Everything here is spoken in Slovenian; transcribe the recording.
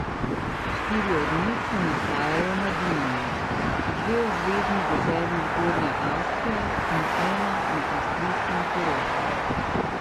Štiri od njih se nahajajo na Dunaju, dve v zvezni deželi Zgornja Avstrija in ena na avstrijskem Koroškem.